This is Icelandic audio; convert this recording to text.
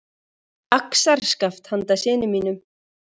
Axarskaft handa syni mínum.